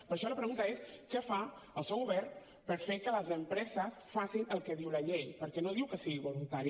per això la pregunta és què fa el seu govern per fer que les empreses facin el que diu la llei perquè no diu que sigui voluntari